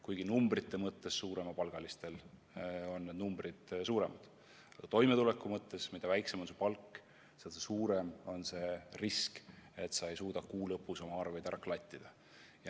Kuigi numbrite mõttes on suuremapalgalistel see kaotus suurem, siis toimetuleku mõttes, mida väiksem on palk, seda suurem on risk, et sa ei suuda kuu lõpus oma arveid ära klattida.